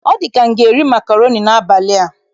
Ọ dị ka m ga-eri makroni n'abalị a.